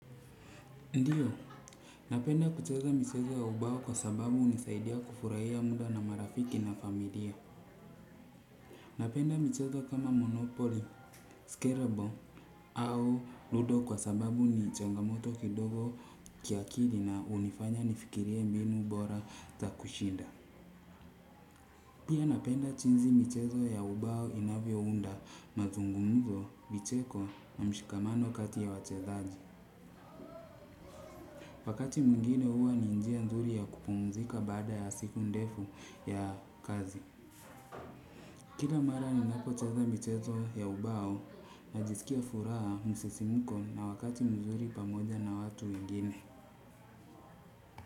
Ndio, napenda kuchezo michezo ya ubao kwa sababu hunisaidia kufurahia muda na marafiki na familia. Napenda michezo kama Monopoly, Scarable au Ludo kwa sababu ni chongamoto kidogo kiakili na unifanya nifikirie mbinu bora za kushinda. Pia napenda jinsi mchezo ya ubao inavyo unda na mazungumzo, micheko na mshikamano kati ya wachezaji. Wakati mwingine huwa ni njia nzuri ya kupumzika baada ya siku ndefu ya kazi. Kila mara ni napocheza michezo ya ubao na jisikia furaha msisimiko na wakati mzuri pamoja na watu wengine.